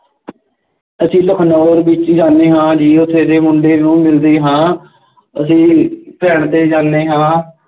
ਅਸੀਂ ਲਖਨਊ ਵਿੱਚ ਜਾਂਦੇ ਹਾਂ ਜੀ ਉੱਥੇ ਦੇ ਮੁੰਡੇ ਨੂੰ ਮਿਲਦੇ ਹਾਂ ਅਸੀਂ train 'ਤੇ ਜਾਂਦੇ ਹਾਂ,